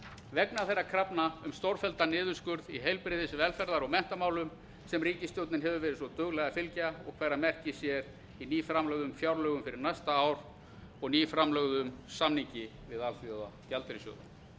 vegna þeirra krafna um stórfelldan niðurskurð í heilbrigðis velferðar og menntamálum sem ríkisstjórnin hefur verið svo dugleg að fylgja og hverra merki sér í nýframlögðu fjárlagafrumvarpi fyrir næsta ár og nýframlögðum samningi við alþjóðagjaldeyrissjóðinn